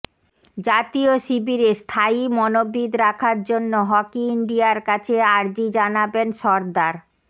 জাতীয় শিবিরে স্থায়ী মনোবিদ রাখার জন্য হকি ইন্ডিয়ার কাছে আর্জি জানাবেন সর্দার